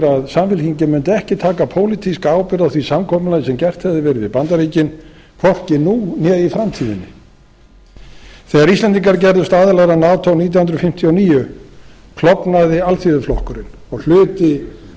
samfylkingin mundi ekki taka pólitíska ábyrgð á því samkomulagi sem gert hefði verið við bandaríkin hvorki nú né í framtíðinni þegar íslendingar gerðust aðilar að nato nítján hundruð fimmtíu og níu klofnaði alþýðuflokkurinn og hluti